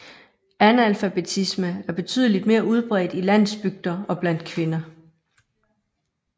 Analfabetisme er betydeligt mere udbredt i landsbygder og blandt kvinder